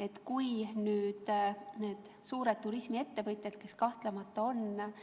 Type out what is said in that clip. Nüüd, kui need suured turismiettevõtjad, kes kahtlemata on